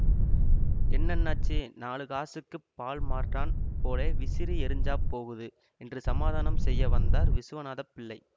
என்னண்ணாச்சி நாலு காசுக்குப் பால்மார்றான் போலே விசிறி எறிஞ்சாப் போகுது என்று சமாதானம் செய்ய வந்தார் விசுவநாத பிள்ளை